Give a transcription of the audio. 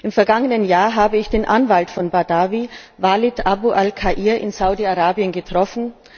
Im vergangenen Jahr habe ich den Anwalt von Badawi, Waleed Abu al Khair in Saudi Arabien getroffen.